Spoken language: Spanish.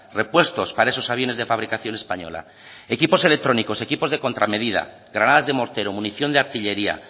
repuestos para esos aviones de fabricación española equipos electrónicos equipos de contramedida granadas de mortero munición de artillería